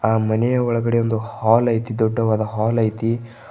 ಆ ಮನೆಯ ಒಳಗಡೆ ಒಂದು ಹಾಲ್ ಐತಿ ದೊಡ್ಡವಾದ ಹಾಲ್ ಐತಿ.